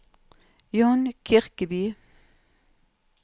John Kirkeby